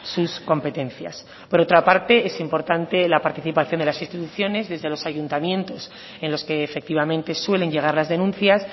sus competencias por otra parte es importante la participación de las instituciones desde los ayuntamientos en los que efectivamente suelen llegar las denuncias